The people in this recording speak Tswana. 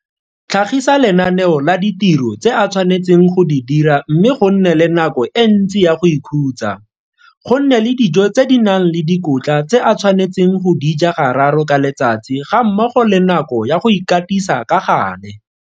Tlhagisa lenaneo la ditiro tse a tshwanetseng go di dira mme go nne le nako e ntsi ya go ikhutsa, go nne le dijo tse di nang le dikotla tse a tshwanetseng go di ja gararo ka letsatsi gammogo le nako ya go ikatisa ka gale.